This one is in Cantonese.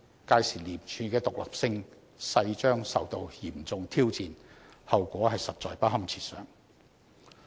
屆時，廉署的獨立性勢將受到嚴重挑戰，後果實在不堪設想。